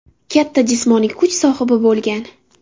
Katta jismoniy kuch sohibi bo‘lgan.